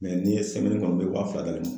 n'i ye kɔnɔ n bɛ wa fila d'ale ma.